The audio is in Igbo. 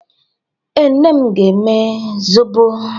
Ee, nne m na-eme zobo.